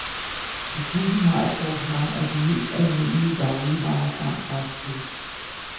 Butikken har et sortiment af de mest almindelige dagligvarer samt fastfood.